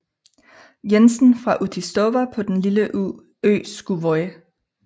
Jensen fra Útistova på den lille ø Skúvoy